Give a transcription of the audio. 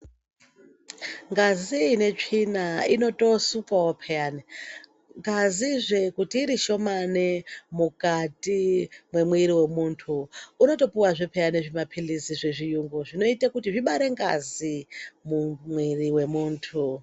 Ngazi inetsvina inotoosukwawo peyani. Ngazizve kuti irishomane mukati mwemiiri wemuntu unotopiwazve peyani zvimaphilizi zvezviyungu zvinoite kuti zvibare ngazi mumwiri wemuntu.